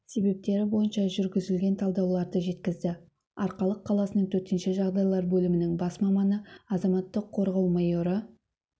себептері бойынша жүргізілген талдауларды жеткізді арқалық қаласының төтенше жағдайлар бөлімінің бас маманы азаматтық қорғау майоры